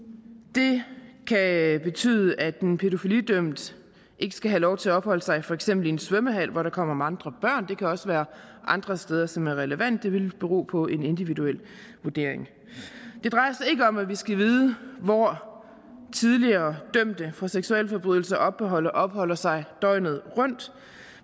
det kan betyde at en pædofilidømt ikke skal have lov til at opholde sig i for eksempel en svømmehal hvor der kommer mange børn og det kan også være andre steder som er relevante det vil bero på en individuel vurdering det drejer sig ikke om at vi skal vide hvor tidligere dømte for seksualforbrydelser opholder opholder sig døgnet rundt